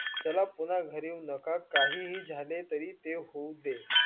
चला पुन्हा नाका काह्ही झाले तरी ते होवू दे.